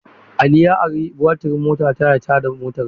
Ali ya ari batirin motata ya tada motarsa.